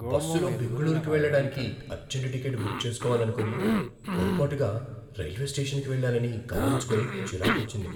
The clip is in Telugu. బస్సులో బెంగుళూరుకు వెళ్లడానికి అర్జంట్ టికెట్ బుక్ చేసుకోవాలనుకొని, పొరపాటుగా రైల్వే స్టేషన్కి వెళ్లానని గమనించుకొని చిరాకొచ్చింది.